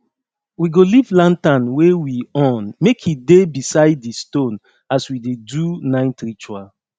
we go leave lantern wey we on make e dey beside di stone as we dey do night ritual